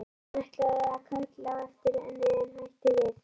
Hann ætlaði að kalla á eftir henni en hætti við.